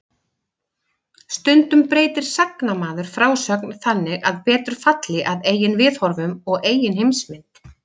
Stundum breytir sagnamaður frásögn þannig að betur falli að eigin viðhorfum og eigin heimsmynd.